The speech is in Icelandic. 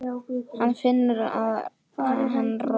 Hann finnur að hann roðnar.